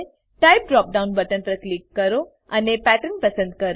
type drop down button પર click કરો અને પેટર્ન પસંદ કરો